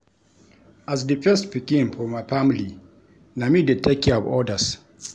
As di first pikin for my family, na me dey take care of others.